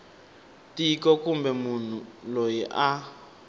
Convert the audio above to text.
tiko kumbe munhu loyi a